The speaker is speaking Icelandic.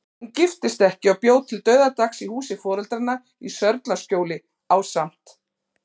Hún giftist ekki og bjó til dauðadags í húsi foreldranna í Sörlaskjóli, ásamt